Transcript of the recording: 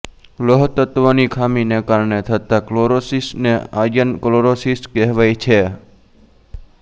લોહતત્વની ખામીને કારણે થતા ક્લોરોસિસને આયર્ન ક્લોરોસિસ કહેવાય છે